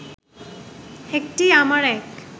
একটি আমার এক